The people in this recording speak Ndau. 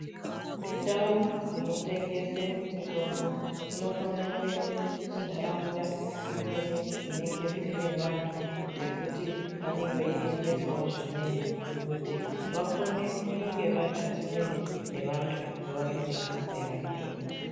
Ndao dzinotengese mitombo dzinokone kuende kuntaraunta dzimweni dzinenge dziine vantu vekuti vanenge veitengesawo zvimweni kuti vakone kunge varipasinde nevantu vavanotengesera mitombo .